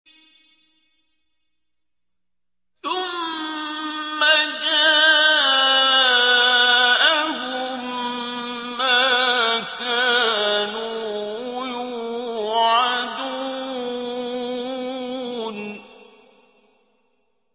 ثُمَّ جَاءَهُم مَّا كَانُوا يُوعَدُونَ